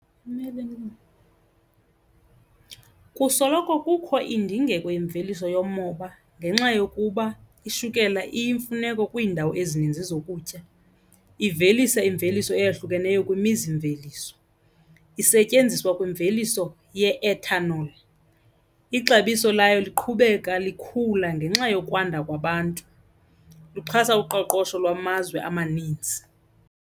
Kusoloko kukho indingeko yemveliso yomoba ngenxa yokuba ishukela iyimfuneko kwiindawo ezininzi zokutya. Ivelisa imveliso eyahlukeneyo kwimizimveliso, isetyenziswa kwimveliso ye-ethanol, ixabiso layo liqhubeka likhula ngenxa yokwanda kwabantu, luxhasa uqoqosho lwamazwe amanintsi.